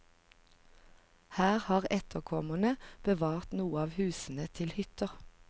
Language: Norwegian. Her har etterkommerne bevart noen av husene til hytter.